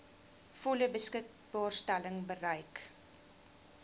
volle beskikbaarstelling bereik